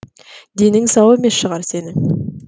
денің сау емес шығар сенің